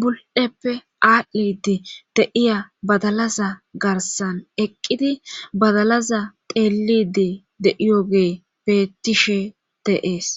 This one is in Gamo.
bul7eppe aadhidi de7iya badalaza garasan eqqidi badalaza xeelliidi de7iyogey beettishe de7ees.